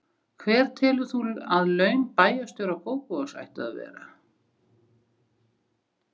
Hver telur þú að laun bæjarstjóra Kópavogs ættu að vera?